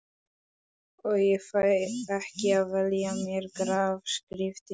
Og ég fæ ekki að velja mér grafskriftina.